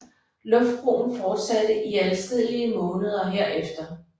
Luftbroen fortsatte i adskillige måneder herefter